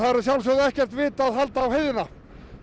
sjálfsögðu ekkert vit að halda á heiðina